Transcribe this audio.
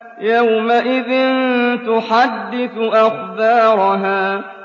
يَوْمَئِذٍ تُحَدِّثُ أَخْبَارَهَا